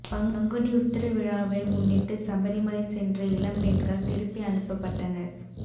பங்குனி உத்திர திருவிழாவை முன்னிட்டு சபரிமலை சென்ற இளம்பெண்கள் திருப்பி அனுப்பப்பட்டனர்